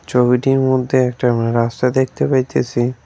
ছবিটির মধ্যে একটা আমরা রাস্তা দেখতে পাইতেছি।